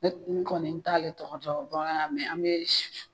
Ne n kɔni n t'ale tɔgɔ dɔn ba an be si